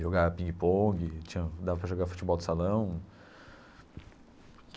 Jogava pingue-pongue, tinha dava para jogar futebol de salão.